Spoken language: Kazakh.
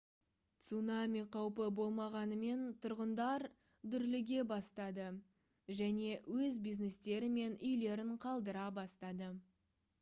цунами қаупі болмағанымен тұрғындар дүрліге бастады және өз бизнестері мен үйлерін қалдыра бастады